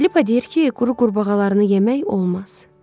Felipa deyir ki, quru qurbağalarını yemək olmaz.